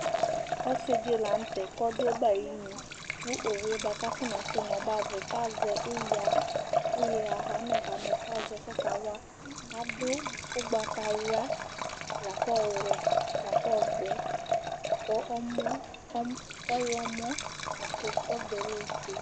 Ɔsɩ dɩ la nʋ tɛ kʋ ɔdʋ ɔbɛ ayɩnu kʋ owu yɛ bʋa kʋ afɔnasɛ nʋ ɔbɛ ava yɛ kʋ azɛ ɩya, ɩya ɣamɛ-ɣamɛ kʋ azɛ kʋ ɔkawa Adʋ ʋgbatawla la kʋ ɔwɛ, la kʋ ɔvɛ kʋ ɔmɔ ɔm ɔɣlɔmɔ la kʋ kɔba yɛ lɛ ofue